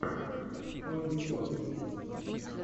полли покки